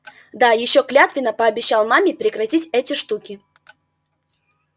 да ещё клятвенно пообещал маме прекратить эти штуки